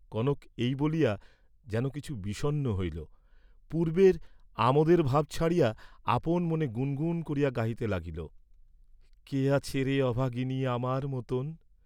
কনক এই বলিয়া যেন কিছু বিষন্ন হইল, পূর্বের আমোদের ভাব ছাড়িয়া আপন মনে গুন গুন করিয়া গাহিতে লাগিল, কে আছে রে অভাগিনী, আমার মতন?